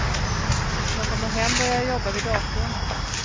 När jag kommer hem börjar jag jobba vid datorn.